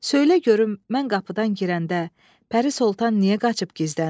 söylə görüm mən qapıdan girəndə Pərisoltan niyə qaçıb gizləndi?